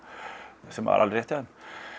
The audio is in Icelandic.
sem var alveg rétt hjá þeim